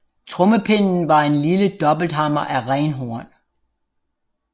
Trommepinden var en lille dobbelthammer af renhorn